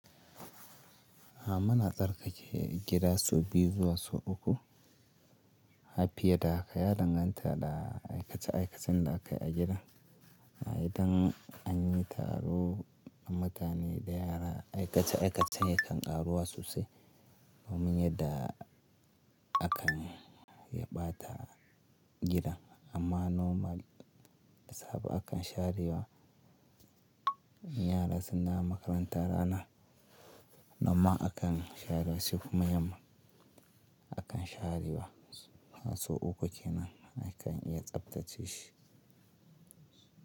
A mana tsarkake gida sau biyu zuwa sau uku. A fiye da haka ya danganta da aikace aikacen da aka yi a gidan. Idan an yi taro da mutane da yara, aikace aikacen ya kan karuwa sosai domin yadda akan yabata gidan. Amma normal da sabo akan share wa yara suna makaranta rana, noman akan share wasu kuma yamma akan share wa. Sau uku kenan akan iya tsaftace shi.